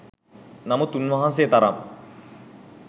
නමුත් උන්වහන්සේ තරම්